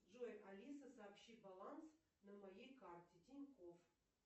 джой алиса сообщи баланс на моей карте тинькофф